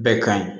Bɛɛ ka ɲi